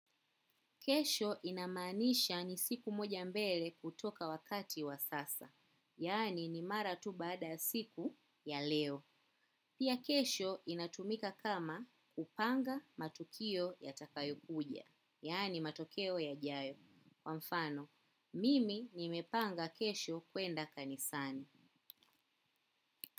Kesho inamanisha ni siku moja mbele kutoka wakati wa sasa. Yani ni mara tu baada siku ya leo. Pia kesho inatumika kama kupanga matukio ya takayo kuja. Yani matokeo yajayo. Kwa mfano mimi nimepanga kesho kwenda kanisani.